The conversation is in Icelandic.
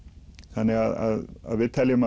þannig að við teljum